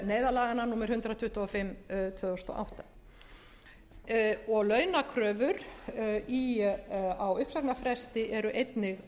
neyðarlaganna númer hundrað tuttugu og fimm tvö þúsund og átta launakröfur á uppsagnarfresti eru einnig